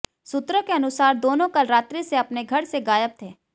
सूत्रों के अनुसार दोनों कल रात्रि से अपने घर से गायब थे